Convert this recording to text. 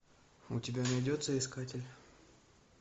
у тебя найдется искатель